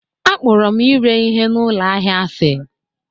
Akpọrọ m ire ihe na ụlọ ahịa asị